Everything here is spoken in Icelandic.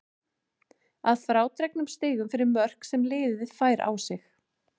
Að frádregnum stigum fyrir mörk sem liðið fær á sig.